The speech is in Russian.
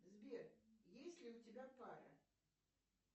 сбер есть ли у тебя пара